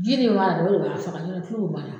Ji nin b'a la o de b'a faga n'o tɛ kulu min b'a la